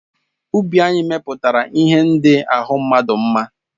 Ubi anyị mepụtara ihe ndị ahụ mmadụ mma.